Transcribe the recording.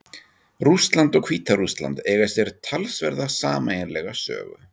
Rússland og Hvíta-Rússland eiga sér talsverða sameiginlega sögu.